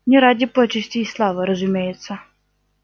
не ради почестей и славы разумеется